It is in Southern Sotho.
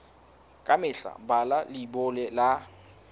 ka mehla bala leibole ya